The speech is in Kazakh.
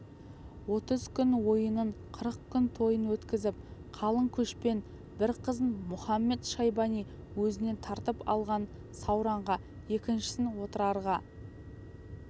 отыз күн ойынын қырық күн тойын өткізіп қалың көшпен бір қызын мұхамед-шайбани өзінен тартып алған сауранға екіншісін отырарға